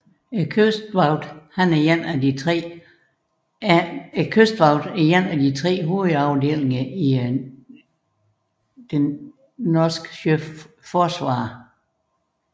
Kystvakten er én af tre hovedafdelinger i det norske Sjøforsvaret